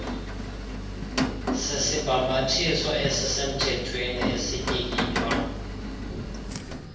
sisibhambathiso esisemthethweni esityikitywa